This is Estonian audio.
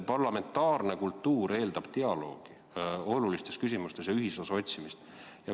Parlamentaarne kultuur eeldab dialoogi olulistes küsimustes ja ühisosa otsimist.